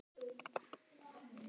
Og það verður að stöðva.